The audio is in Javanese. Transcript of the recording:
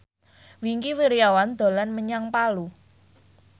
Wingky Wiryawan dolan menyang Palu